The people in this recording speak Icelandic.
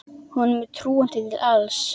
Honum er trúandi til alls.